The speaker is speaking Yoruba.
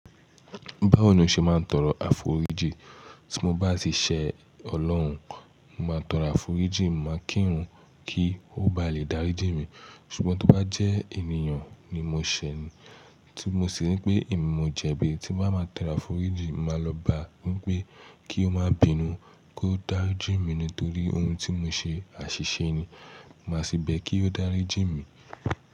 Báwo ni o ṣe máa ń tọrọ àforíjì? Tí mo bá tì ṣe ọlọ́run, mo máa tọrọ àforíjì, mo máa kírun kí ó ba lè dáríjì mí. Ṣùgbọ́n tí ó bá jẹ́ ènìyàn ni mo ṣẹ̀, tí mo sì rí pé èmi mo jẹbi, tí mo bá máa tọrọ àforíjì, màá lọ bá a wípé kí ó má bínú, kó dáríjì mí nítorí ohun tí mo ṣe, àṣìṣe ni. Mo máa sí bẹ̀ kí ó dáríjì mí.